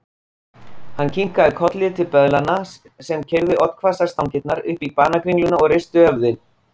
Hann kinkaði kolli til böðlanna sem keyrðu oddhvassar stangirnar upp í banakringlurnar og reistu höfuðin.